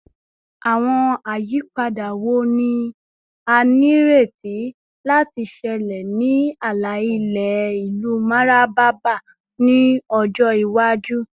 Awọn ayipada wo ni a nireti lati ṣẹlẹ ni ala-ilẹ ilu Mararaba ni ọjọ iwaju?